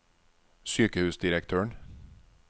sykehusdirektøren